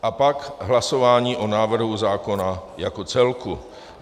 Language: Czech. A pak hlasování o návrhu zákona jako celku.